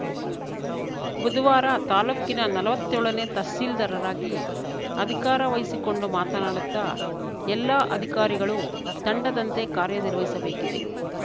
ಬುಧವಾರ ತಾಲೂಕಿನ ನಲ್ವತ್ತೇಳನೇ ತಹಸೀಲ್ದಾರಾಗಿ ಅಧಿಕಾರ ವಹಿಸಿಕೊಂಡು ಮಾತನಾಡುತ್ತಾ ಎಲ್ಲಾ ಅಧಿಕಾರಿಗಳು ತಂಡದಂತೆ ಕಾರ್ಯನಿರ್ವಹಿಸಬೇಕಿದೆ